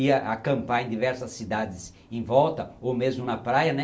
ia acampar em diversas cidades em volta ou mesmo na praia, né?